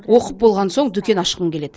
оқып болған соң дүкен ашқым келеді